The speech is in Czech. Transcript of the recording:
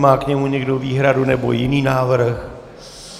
Má k němu někdo výhradu, nebo jiný návrh?